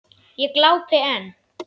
Ég glápi enn.